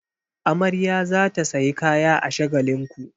Amarya za ta sayi kaya a Shagalinku.